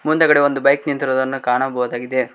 ಮುಂದೆಗಡೆ ಒಂದು ಬೈಕ್ ನಿಂತಿರುದನ್ನ ಕಾಣಬಹುದಾಗಿದೆ